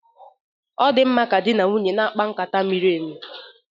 Ọ di mma ka di na nwunye na-akpa nkata miri emi